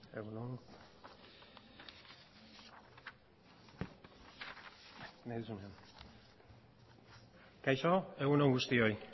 hitza kaixo egun on guztioi